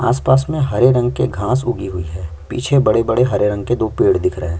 आसपास में हरे रंग के घाँस उगी हुई है पीछे बड़े-बड़े हरे रंग के दो पेड़ दिख रहे हैं।